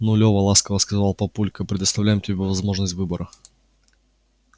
ну лёва ласково сказал папулька предоставляем тебе возможность выбора